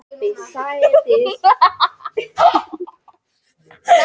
En ef spurt er hvers vegna heilbrigði er dýrmætt er einfaldasta svarið Af því bara!